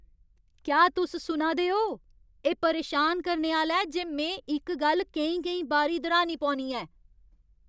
क्या तुस सुना दे ओ? एह् परेशान करने आह्‌ला ऐ जे में इक गल्ल केईं केईं बारी दोह्रानी पौनी ऐ।